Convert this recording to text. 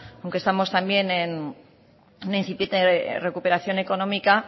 aunque estamos también en una incipiente recuperación económica